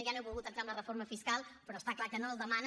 ja no he volgut entrar en la reforma fiscal però està clar que no el demanen